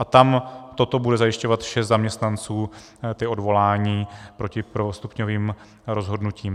A tam toto bude zajišťovat šest zaměstnanců, ta odvolání proti prvostupňovým rozhodnutím.